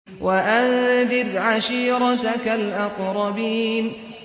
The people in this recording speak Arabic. وَأَنذِرْ عَشِيرَتَكَ الْأَقْرَبِينَ